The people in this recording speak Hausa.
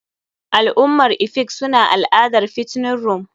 Al'ummar efik suna al'adar fattening room.